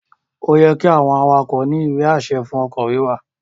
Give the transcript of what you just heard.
Ó yẹ́ kí àwọn awakọ̀ ní ìwé-àṣẹ fún ọkọ̀ wíwà